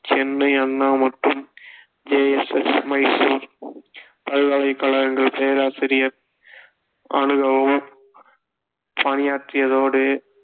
சென்னை அண்ணா மற்றும் J S S Mysore பல்கலைக்கழகங்கள் பேராசிரியர் பணியாற்றியதோடு